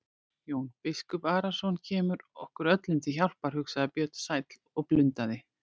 Jón biskup Arason kemur okkur öllum til hjálpar, hugsaði Björn sæll og blundaði.